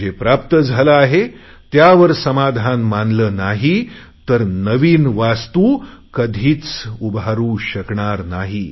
पण जे प्राप्त झाले आहे त्यावर समाधान मानले नाही तर नवीन वास्तू कधीच उभारु शकणार नाही